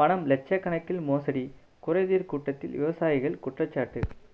பணம் லட்சக்கணக்கில் மோசடி குறைதீர் கூட்டத்தில் விவசாயிகள் குற்றச்சாட்டு